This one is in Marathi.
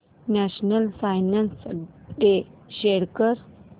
नॅशनल सायन्स डे शो कर